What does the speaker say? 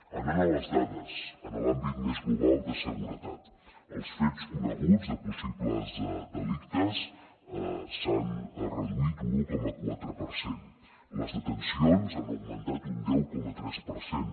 anant a les dades en l’àmbit més global de seguretat els fets coneguts de possibles delictes s’han reduït un un coma quatre per cent les detencions han augmentat un deu coma tres per cent